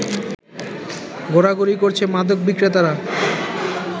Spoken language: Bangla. ঘোরাঘুরি করছে মাদক বিক্রেতারা